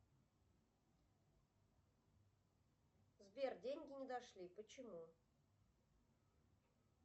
сбер деньги не дошли почему